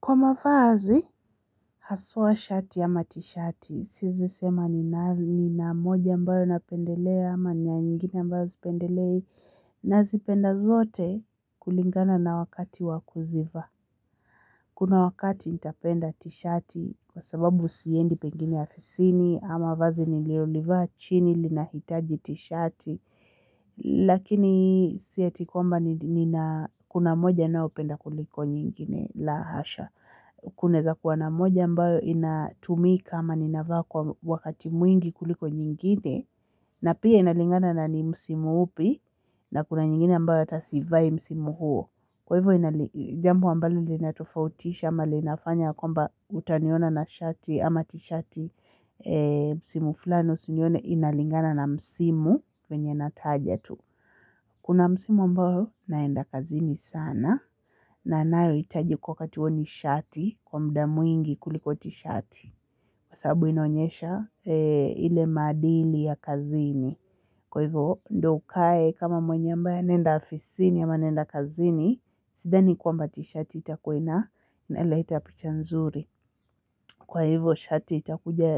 Kwa mavazi, haswa shati ama tishati. Siezi sema nina moja ambayo napendelea ama nina nyingine ambayo sipendelei nazipenda zote kulingana na wakati wa kuzivaa. Kuna wakati nitapenda t-shati kwa sababu siendi pengine afisini ama vazi niliolivaa chini linahitaji t-shati lakini si eti kwamba nina kuna moja naopenda kuliko nyingine la hasha. Kunaeza kuwa na moja ambayo inatumika ama ninavaa kwa wakati mwingi kuliko nyingine na pia inalingana na ni msimu upi na kuna nyingine ambayo hata sivai msimu huo kwa hivyo inali jambo ambalo linatofautisha ama linafanya ya kwamba utaniona na shati ama tishati msimu fulani usinione inalingana na msimu wenye nataja tu kuna msimu ambao naenda kazini sana na nayohitaji kwa wakati huo ni shati kwa muda mwingi kuliko tishati. Kwa sababu inaonyesha ile maadili ya kazini. Kwa hivyo ndo ukae kama mwenye ambaye anaenda afisini ama anaenda kazini. Sidhani kwamba tishati itakuwa ina inaleta picha nzuri. Kwa hivyo shati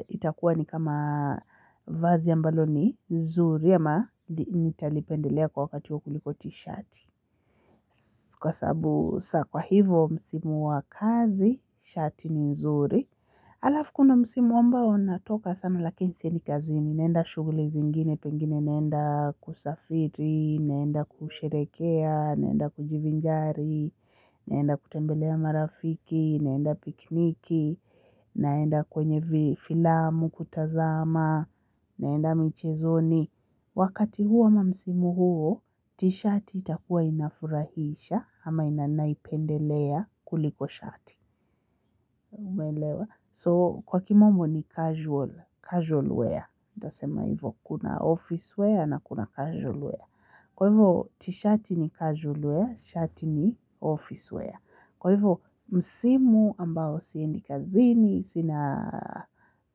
itakuwa ni kama vazi ambalo ni nzuri ama nitalipendelea kwa wakati wa kuliko tishati. Kwa sababu saa, kwa hivo msimu wa kazi, shati ni nzuri halafu kuna msimu ambao natoka sana lakini siendi kazini naenda shughuli zingine pengine naenda kusafiri, naenda kusherehekea, naenda kujivinjari naenda kutembelea marafiki, naenda picnic, naenda kwenye filamu kutazama, naenda michezoni, wakati huo ama msimu huo tishati itakuwa inafurahisha ama naipendelea kuliko shati so kwa kimombo ni casual, casual wear nitasema hivo kuna office wear na kuna casual wear. Kwa hivo, t-shati ni casualware, shati ni officeware. Kwa hivo, msimu ambao siendi kazini, sina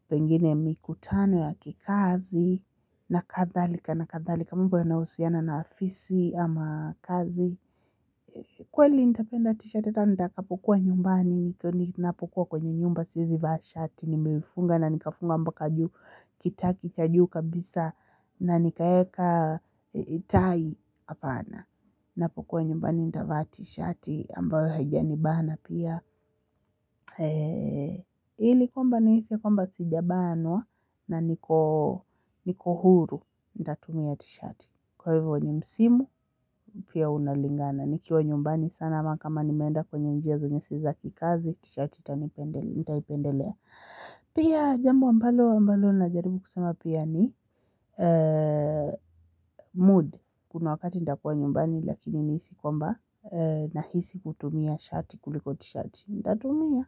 pengine mikutano ya kikazi na kadhalika na kadhalika. Mambo yanahusiana na afisi ama kazi. Kweli nitapenda tishati hata nikapokuwa nyumbani ninapokuwa kwenye nyumba siezi vaa shati nimeifunga na nikafunga mpaka juu kitaki kajuu kabisa na nikaeka tai hapana. Napokuwa nyumbani nitavaa tishati ambayo haijanibana pia. Ili kwamba nahisi ya kwamba sijabanwa na niko niko huru nitatumia tishati kwa hivo ni msimu pia unalingana nikiwa nyumbani sana ama kama nimeenda kwenye njia zenye si za kikazi tishati nitaipendelea pia jambo ambalo ambalo najaribu kusema pia ni mood kuna wakati nitakuwa nyumbani lakini nihisi kwamba nahisi kutumia shati kuliko tishati nitatumia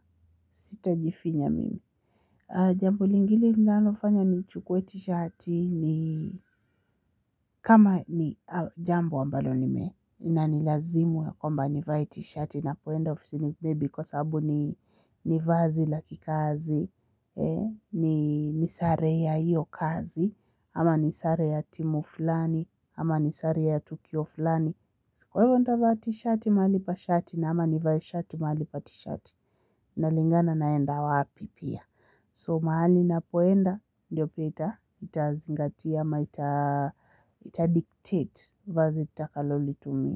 sitajifinya mimi. Jambo lingine linalofanya nichukue tishati ni kama ni jambo ambalo nime inanilazimu ya kwamba nivae tishati napoenda ofisini maybe kwa sababu ni ni vazi la kikazi, ni sare ya hiyo kazi ama ni sare ya timu fulani, ama ni sare ya tukio fulani, kwa hiyo nitavaa tishati mahali ya shati, ama nivae shati mahali pa tishati inalingana naenda wapi pia, so mahali napoenda ndo pia itazingatia ama ita. Itadictate vazi nitakalolitumia.